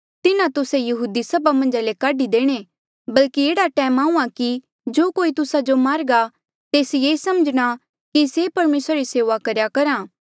तिन्हा तुस्से यहूदी सभा मन्झा ले काढी देणे बल्कि एह्ड़ा टैम आहूँआं कि जो कोई तुस्सा जो मारघा तेस ये समझणा कि से परमेसरा री सेऊआ करेया करहा